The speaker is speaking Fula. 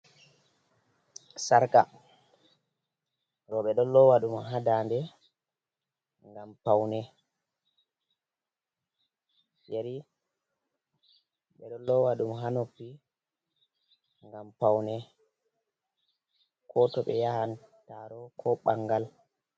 Sarka, roɓe ɗon lowa ɗum hadande ngam paune, yari ɓe ɗon lowa ɗum hanoppi ngam paune ko toɓe yahantaro ko ɓangal.